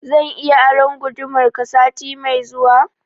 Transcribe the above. Zan iya aron gudumar ka sati mai zuwa?